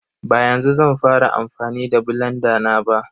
Ba yanzu zan fara amfani da blanda na ba.